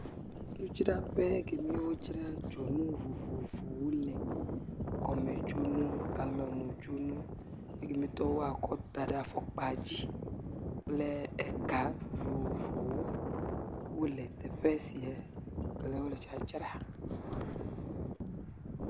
Nudzraƒe kemi wodzra dzonu vovovowo le. Kɔme dzonuwo, alɔnu dzonu, ekemi tɔwo woakɔ da ɖe afɔkpa dzi kple eka vovovowo wole teƒe sia kele wole dzadzra